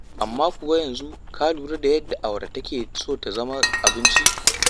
Amma kuwa a yanzu ka lura da yadda awara take so ta zama abinci?